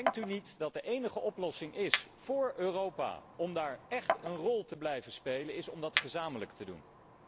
Denkt u niet dat de enige oplossing voor Europa om daar echt een rol te blijven spelen, is om gezamenlijk op te treden?